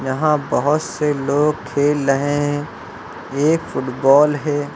वहां बहोत से लोग खेल रहे हैं एक फुटबॉल है।